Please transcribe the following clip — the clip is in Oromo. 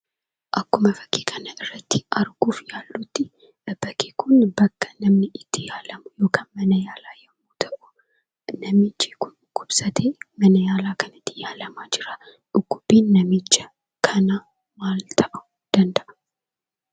Akkuma fakkii kanarratti arguuf yaallutti bakki kun bakka itti namni itti yaalamu yookaan mana yaalaa yommuu ta'u namichi kun dhukkubsatee mana yaalaa kanatti yaalamaa jira. Dhukkubbiin namicha kanaa maal ta'uu danda'a?